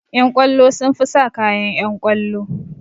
Ƴan kwallo sun fi sa kayan ƴan kwallo